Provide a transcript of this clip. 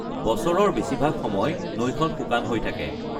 বছৰৰ বেছিভাগ সময় নৈখন শুকান হৈ থাকে।